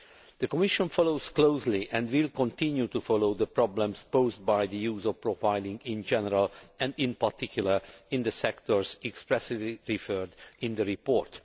The Commission follows closely and will continue to follow the problems posed by the use of profiling in general and, in particular, in the sectors expressly referred to in the report.